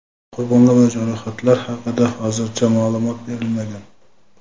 Qurbonlar va jarohatlar haqida hozircha ma’lumot berilmagan.